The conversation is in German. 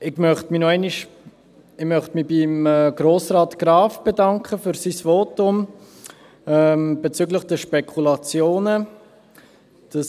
Ich möchte mich bei Grossrat Graf für sein Votum bezüglich der Spekulationen bedanken.